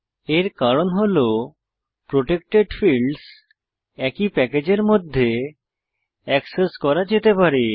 এর কারণ হল প্রটেক্টেড ফীল্ডস একই প্যাকেজের মধ্যে এক্সেস করা যেতে পারে